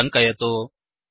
इति टङ्कयतु